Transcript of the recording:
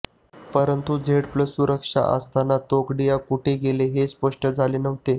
परंतु Z plus सुरक्षा असताना तोगडिया कुठे गेले होते हे स्पष्ट झाले नव्हते